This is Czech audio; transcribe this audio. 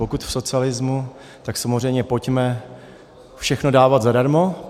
Pokud v socialismu, tak samozřejmě pojďme všechno dávat zadarmo.